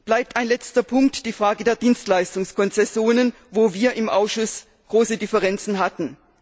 Bleibt ein letzter Punkt die Frage der Dienstleistungskonzessionen, wo wir im Ausschuss große Differenzen hatten.